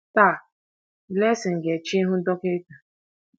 Taa Blessing ga-eche ịhụ dọkịta